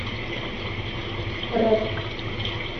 рэп